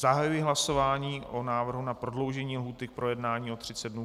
Zahajuji hlasování o návrhu na prodloužení lhůty k projednání o 30 dnů.